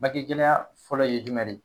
Bange gɛlɛya fɔlɔ ye jumɛn de ye?